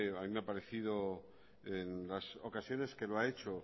a mí me ha parecido en las ocasiones que lo ha hecho